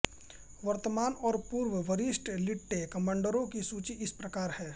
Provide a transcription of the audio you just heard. वर्तमान और पूर्व वरिष्ठ लिट्टे कमांडरों की सूची इस प्रकार हैं